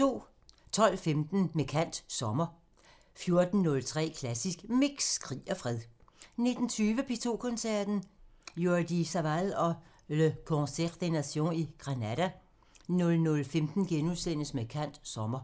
12:15: Med kant – Sommer 14:03: Klassisk Mix – Krig og fred 19:20: P2 Koncerten – Jordi Savall og Le Concert des Nations i Granada 00:15: Med kant – Sommer *